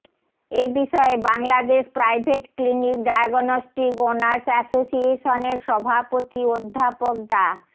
এ বিষয়ে Bangladesh Private Clinic Diagnostic Owners অ্যাসোসিয়েশনের সভাপতি অধ্যাপক ডা